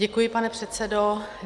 Děkuji, pane předsedo.